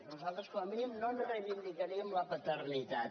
nosaltres com a mínim no en reivindicaríem la paternitat